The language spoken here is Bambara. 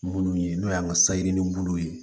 Munnu ye n'o y'an ka sayi ni bulu ye